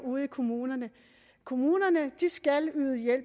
ude i kommunerne kommunerne skal